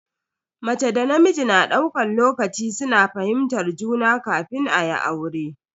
Mace da namiji na daukan lokaci suna fahimtar juna kafin ayi aure.